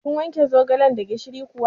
Kin wanke zogalan da gishiri kuwa?